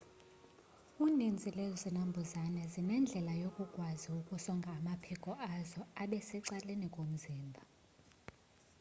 uninzi lwezinambuzane zinendlela yokukwazi ukusonga amaphiko azo abe secaleni komzimba